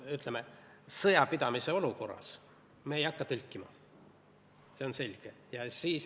Ütleme nii, et sõjapidamise olukorras me ei hakka tõlkima, see on selge.